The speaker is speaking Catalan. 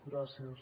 gràcies